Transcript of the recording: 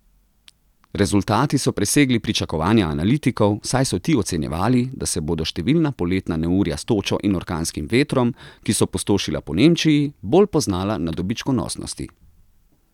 Rezultati so presegli pričakovanja analitikov, saj so ti ocenjevali, da se bodo številna poletna neurja s točo in orkanskim vetrom, ki so pustošila po Nemčiji, bolj poznala na dobičkonosnosti.